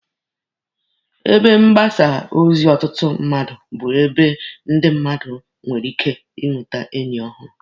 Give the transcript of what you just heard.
Ebe mgbasa ozi ọtụtụ mmadụ bụ ebe ndị mmadụ nwere ike inwete enyi ọhụrụ.